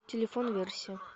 телефон версия